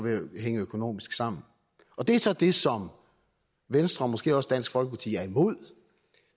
at hænge økonomisk sammen det er så det som venstre og måske også dansk folkeparti er imod